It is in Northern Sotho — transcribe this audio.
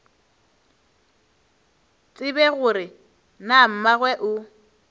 tsebe gore na mmagwe o